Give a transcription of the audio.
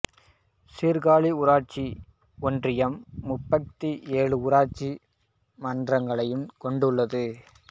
சீர்காழி ஊராட்சி ஒன்றியம் முப்பத்தி ஏழு ஊராட்சி மன்றங்களை கொண்டுள்ளது